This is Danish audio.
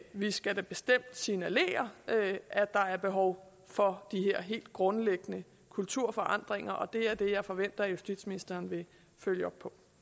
vi skal da bestemt signalere at der er behov for de her helt grundlæggende kulturforandringer og det er det jeg forventer at justitsministeren vil følge op